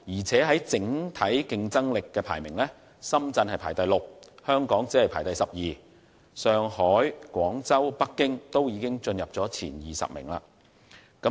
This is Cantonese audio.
至於整體競爭力方面，深圳排名第六位，而香港則只位列第十二，反而上海、廣州和北京均已進入前20名。